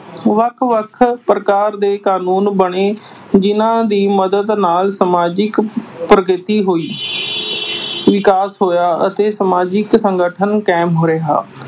ਵੱਖ ਵੱਖ ਸਰਕਾਰ ਦੇ ਕਾਨੂੰਨ ਬਣੇ ਜਿਨ੍ਹਾਂ ਦੀ ਮਦਦ ਨਾਲ ਸਮਾਜਿਕ ਪ੍ਰਗਤੀ ਹੋਈ। ਵਿਕਾਸ ਹੋਇਆ ਅਤੇ ਸਮਾਜਿਕ ਸੰਗਠਨ ਕਾਇਮ ਰਿਹਾ।